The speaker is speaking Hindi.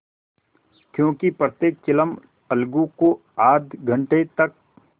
क्योंकि प्रत्येक चिलम अलगू को आध घंटे तक